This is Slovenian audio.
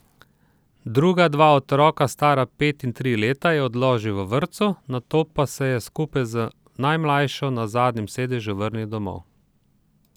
Druga dva otroka, stara pet in tri leta, je odložil v vrtcu, nato pa se je skupaj z najmlajšo na zadnjem sedežu vrnil domov.